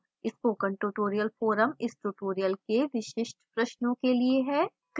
spoken tutorial forum इस tutorial के विशिष्ट प्रश्नों के लिए है